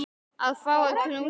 Að fá að knúsa þig.